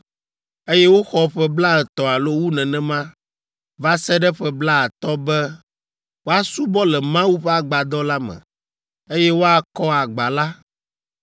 eye woxɔ ƒe blaetɔ̃ alo wu nenema va se ɖe ƒe blaatɔ̃ be woasubɔ le Mawu ƒe agbadɔ la me, eye woakɔ agba la